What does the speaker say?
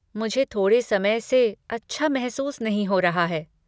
मुझे थोड़े समय से अच्छा महसूस नहीं हो रहा है।